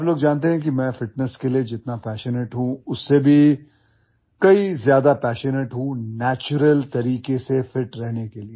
आप लोग जानते हैं कि मैं फिटनेस के लिए जितना पैशनेट हूं उससे भी कई ज्यादा पैशनेट हूं नैचुरल तरीके से फिट रहने के लिए